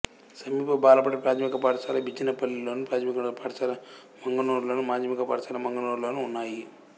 సమీప బాలబడి ప్రాథమిక పాఠశాల బిజినపల్లిలోను ప్రాథమికోన్నత పాఠశాల మంగనూర్లోను మాధ్యమిక పాఠశాల మంగనూర్లోనూ ఉన్నాయి